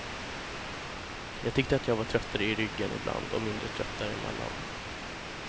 Jag tyckte att jag var tröttare i ryggen ibland och mindre trött däremellan.